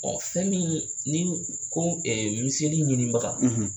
fɛn min ni ko, , miseli ɲinibaga,